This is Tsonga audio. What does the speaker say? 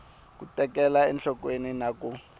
ku tekela enhlokweni na ku